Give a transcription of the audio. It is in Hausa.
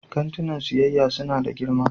Kantinan siyayya suna da girma